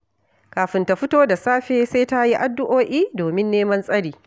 Kafin ta fito da safe, sai ta yi addu’o’i domin neman tsari